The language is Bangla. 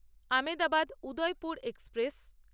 আমেদাবাদ উদয়পুর এক্সপ্রেস